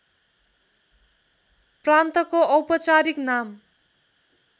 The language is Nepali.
प्रान्तको औपचारिक नाम